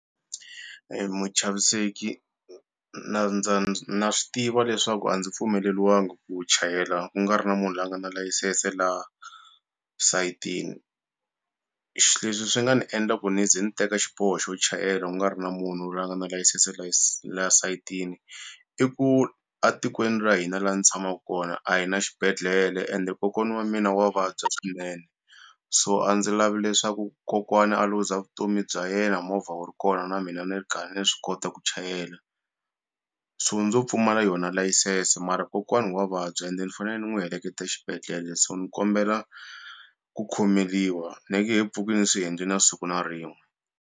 Muchaviseki na na swi tiva leswaku a ndzi pfumeleliwangi ku chayela ku nga ri na munhu la a nga na layisense laha sayitini leswi swi nga ni endla ku ni ze ni teka xiboho xo chayela ku nga ri na munhu lweyi a nga na layisense la sayitini i ku a tikweni ra hina la ni tshamaku kona a hi na xibedhlele ende kokwana wa mina wa vabya swinene so a ndzi lavi leswaku kokwana a luza vutomi bya yena movha wu ri kona na mina ni ri karhi ni swi kota ku chayela so ndzo pfumala yona layisense mara kokwani wa vabya ende ni fanele ni n'wi heleketa xibedhlele so ni kombela ku khomeliwa ni nge he pfuki ni swi endle na siku na rin'we.